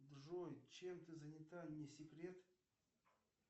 джой чем ты занята не секрет